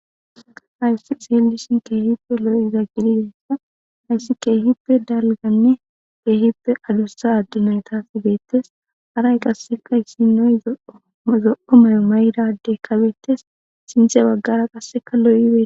Haysi xeelishn keehippe lo'iza haysi keehippe dalganne keehippe adusa ade naytaka betes, haray qaseka issinoy zo'o mayo mayida adeyka betes, sinthe bagara qase lo'oy betes